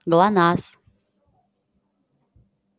глонассс